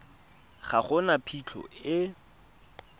ga go na phitlho e